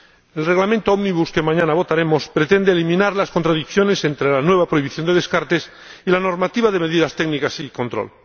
El Reglamento ómnibus que mañana votaremos pretende eliminar las contradicciones entre la nueva prohibición de descartes y la normativa de medidas técnicas y control.